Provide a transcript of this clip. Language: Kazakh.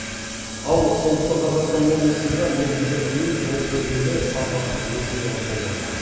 ал солтүстік қазақстан облысында мердігер ұйым жол жөндеуге сапасыз материал қолданған